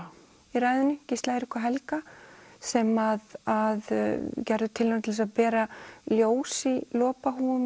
í ræðunni Gísla Eirík og Helga sem að gerðu tilraun til að bera ljós í